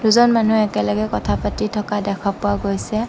দুজন মানুহ একেলগে কথা পাতি থকা দেখা পোৱা গৈছে।